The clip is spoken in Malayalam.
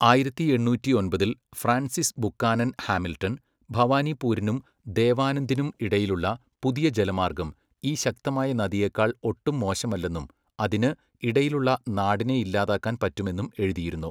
ആയിരത്തി എണ്ണൂറ്റി ഒമ്പതിൽ ഫ്രാൻസിസ് ബുക്കാനൻ ഹാമിൽട്ടൺ, ഭവാനിപ്പൂരിനും ദേവാനന്ദിനും ഇടയിലുള്ള പുതിയ ജലമാർഗം ഈ ശക്തമായ നദിയേക്കാൾ ഒട്ടും മോശമല്ലെന്നും അതിന്, ഇടയിലുള്ള നാടിനെ ഇല്ലാതാക്കാൻ പറ്റുമെന്നും എഴുതിയിരുന്നു.